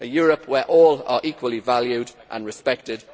A Europe where all are equally valued and respected